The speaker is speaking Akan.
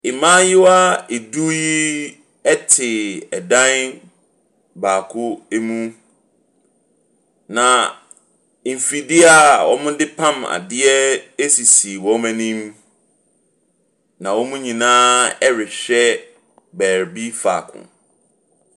Mmayewa du yi te dan baako mu, na mfifie a wɔde pam ade sisi wɔn anim, na wɔn nyinaa rehwɛ baabi faako.